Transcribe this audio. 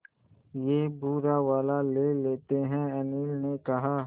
ये भूरा वाला ले लेते हैं अनिल ने कहा